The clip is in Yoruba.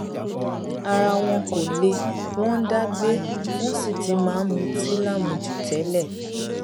ara wọn kò le wọn ń dá gbé wọn sì ti máa ń mutí lámujù tẹlẹ